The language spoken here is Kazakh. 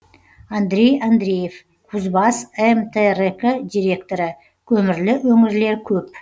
андрей андреев кузбасс мтрк директоры көмірлі өңірлер көп